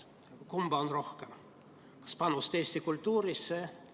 Kumba on rohkem, kas panust eesti kultuuri?